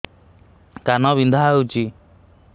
କାନ ବିନ୍ଧା ହଉଛି